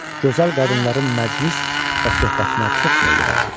Gözəl qadınların məclis və söhbətinə çox meyli vardı.